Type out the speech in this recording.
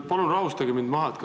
Palun rahustage mind maha!